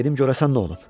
Dedim görəsən nə olub.